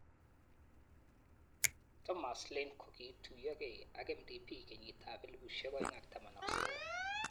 Thomas Lane kokiituiyokei ak MDP kenyitab 2019.